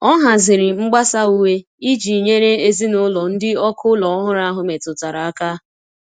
O haziri mgbasa uwe iji nyere ezinụlọ ndị ọkụ ụlọ ọhụrụ ahụ metụtara aka.